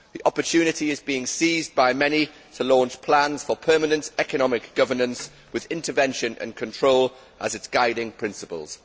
The opportunity is being seized on by many to launch plans for permanent economic governance, with intervention and control as its guiding principles.